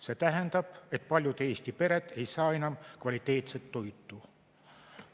See tähendab, et paljud Eesti pered ei saa enam kvaliteetset toitu.